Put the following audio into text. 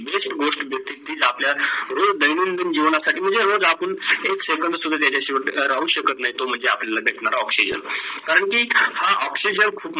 गोष्ट म्हणजे तिच आपल्या रोज दैनिकदिन जीवनत साठी म्हणजे रोज आपण एक SECON साठी सुद्धा राहू शकत नाही तो म्हणजे तो आपला oxygen. करण की हा oxygen खूप